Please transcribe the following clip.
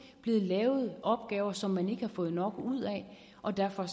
blevet lavet opgaver som man ikke har fået nok ud af og derfor